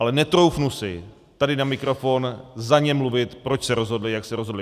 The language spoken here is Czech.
Ale netroufnu si tady na mikrofon za ně mluvit, proč se rozhodli, jak se rozhodli.